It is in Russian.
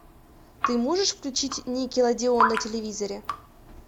ты можешь включить никелодеон на телевизоре